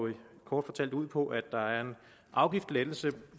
kort fortalt ud på at der er en afgiftslettelse